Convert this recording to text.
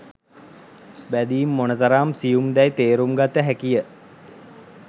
බැදීම් මොනතරම් සියුම් දැයි තේරුම් ගත හැකිය.